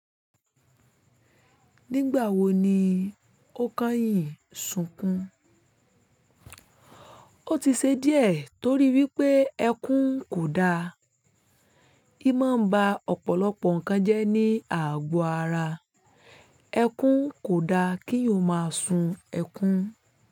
Nígbà wo ni ó kányìn sunkún? Ó ti ṣe díẹ̀ torí wípé ẹkún kò da. Í máa ń ba ọ̀pọ̀lọpọ̀ nǹkan jẹ́ ní àgo ara. Ẹkún kò da kí o máa sun ẹkún.